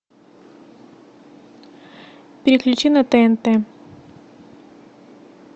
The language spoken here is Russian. переключи на тнт